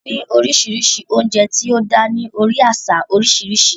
A ní oríṣiríṣi oúnjẹ tí ó dá ní orí àṣà oríṣiríṣi